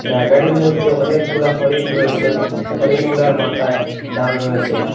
জায়গাটির মধ্যে অনেকগুলা হরিণ রয়েসেন হরিণ গুলার মাথায় ডাল রয়েসে।